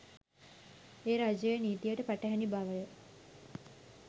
එය රජයේ නීතියට පටහැනි බවය